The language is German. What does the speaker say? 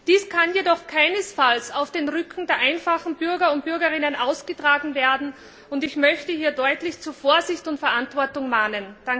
Dies kann jedoch keinesfalls auf dem Rücken der einfachen Bürgerinnen und Bürger ausgetragen werden, und ich möchte hier deutlich zu Vorsicht und Verantwortung mahnen!